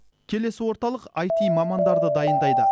келесі орталық аити мамандарды дайындайды